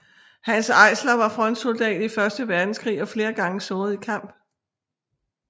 Hanns Eisler var frontsoldat i første verdenskrig og flere gange såret i kamp